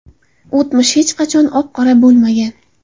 O‘tmish hech qachon oq-qora bo‘lmagan.